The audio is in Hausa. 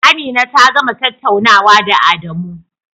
Amina ta gama tattaunawa da Adamu.